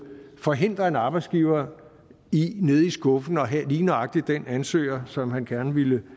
forhindre en arbejdsgiver i nede i skuffen at have lige nøjagtig den ansøger som han gerne ville